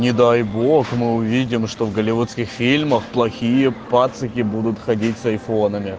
не дай бог мы увидим что в голливудских фильмах плохие пацики будут ходить с айфонами